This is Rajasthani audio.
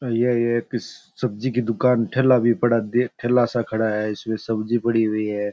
ये एक सब्जी कि दुकान ठेला भी पड़ा देख ठेला सा खड़ा है इसमें सब्जी सब्जी पड़ी हुई है।